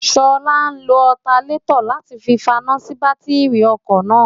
ṣọlá lo ọtanétọ̀ láti fi faná sí bátíìrì ọkọ̀ náà